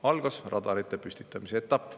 Algas radarite püstitamise etapp.